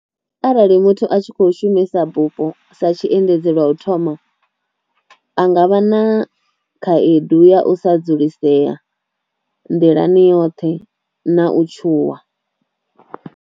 Arali muthu a tshi kho shumisa bupho sa tshiendedzi lwa u thoma a nga vha na khaedu ya u sa dzulisea nḓilani yoṱhe na u tshuwa.